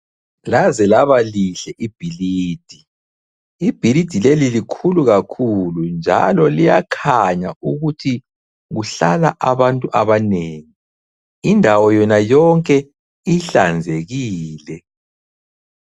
Laze laba lihle ibhilidi. Ibhilidi leli likhulu kakhulu. Njalo liyakhanya ukuthi kuhlala abantu abanengi. Indawo yona yonke ihlanzekile.